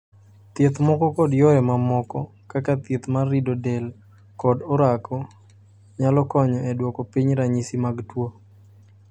Thieth moko kod yore mamoko, kaka thieth mar rido del kod orako, nyalo konyo e duoko piny ranyisi mag tuo.